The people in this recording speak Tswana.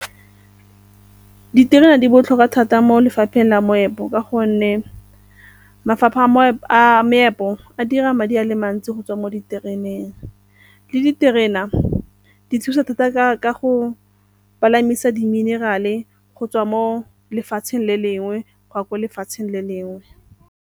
Diterena di botlhokwa thata mo lefapheng la moepo ka gonne mafapha a meepo a dira madi a le mantsi go tswa mo ditereneng le diterena di thusa thata ka go palamisa di-mineral-e go tswa mo lefatsheng le lengwe go ya kwa ko lefatsheng le lengwe.